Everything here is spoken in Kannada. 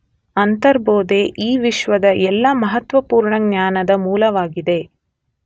ಅಂತರ್ಬೋಧೆ ಈ ವಿಶ್ವದ ಎಲ್ಲ ಮಹತ್ವಪುರ್ಣ ಜ್ಞಾನದ ಮೂಲವಾಗಿದೆ